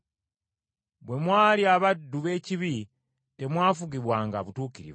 Bwe mwali abaddu b’ekibi, temwafugibwanga butuukirivu.